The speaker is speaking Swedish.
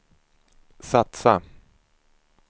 satsa